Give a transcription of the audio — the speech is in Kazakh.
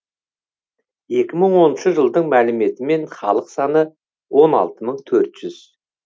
екі мың оныншы жылдың мәліметімен халық саны он алты мың төрт жүз